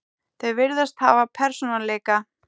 Þau virðast hafa persónuleika.